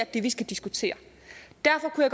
det vi skal diskutere derfor kunne